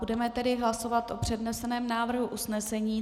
Budeme tedy hlasovat o předneseném návrhu usnesení.